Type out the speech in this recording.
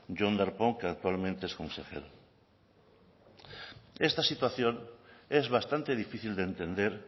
jon darpón que actualmente es consejero esta situación es bastante difícil de entender